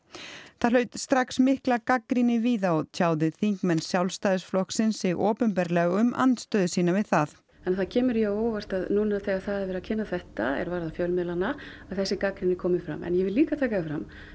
það hlaut strax mikla gagnrýni víða og tjáðu þingmenn Sjálfstæðisflokksins sig opinberlega um andstöðu sína við það það kemur jú á óvart að núna þegar það er verið að kynna þetta er varðar fjölmiðlana að þessi gagnrýni komi fram en ég vil líka taka það fram